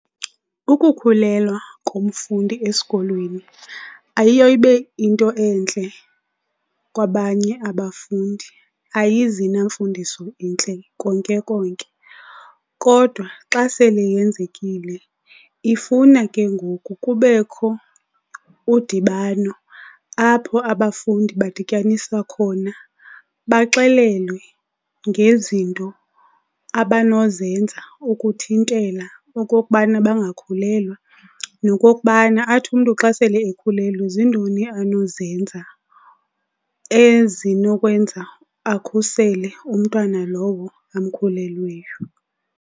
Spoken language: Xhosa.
Ukukhulelwa komfundi esikolweni ayiyo ibe into entle kwabanye abafundi. Ayizi namfundiso intle konke konke, kodwa xa sele yenzekile ifuna ke ngoku kubekho udibano apho abafundi badityaniswa khona baxelelwe ngezinto abanozenza ukuthintela okokubana bangakhulelwa nokokubana athi umntu xa sele ekhulelwe ziintoni anozenza ezinokwenza akhusele umntwana lowo amkhulelweyo.